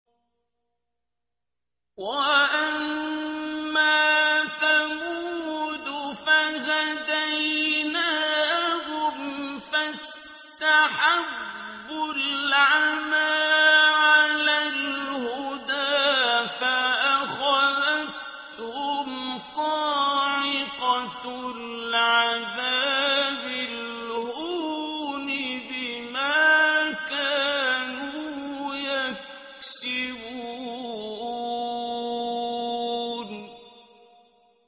وَأَمَّا ثَمُودُ فَهَدَيْنَاهُمْ فَاسْتَحَبُّوا الْعَمَىٰ عَلَى الْهُدَىٰ فَأَخَذَتْهُمْ صَاعِقَةُ الْعَذَابِ الْهُونِ بِمَا كَانُوا يَكْسِبُونَ